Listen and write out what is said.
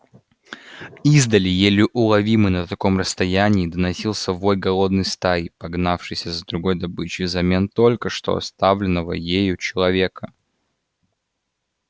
издали еле уловимый на таком расстоянии доносился вой голодной стаи погнавшейся за другой добычей взамен только что оставленного ею человека